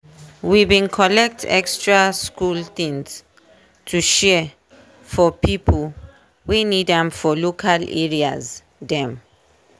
we bin collect extra school things to share for pipo wey need am for local areas dem.